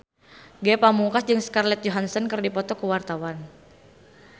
Ge Pamungkas jeung Scarlett Johansson keur dipoto ku wartawan